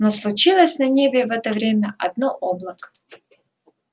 но случилось на небе в это время одно облако